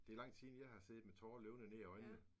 Det lang tid siden jeg har siddet med tårer løbende nedad øjnene